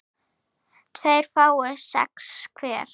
tveir fái sex hver